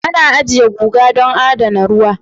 Ana ajiye guga don adana ruwa